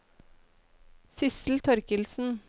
Sissel Torkildsen